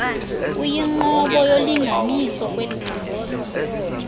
kuyinqobo yolinganiso kwelicandelo